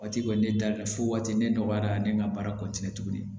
Waati kɔni ne dalen fo waati ne nɔgɔyara ne ka baara kɔnɔna la tuguni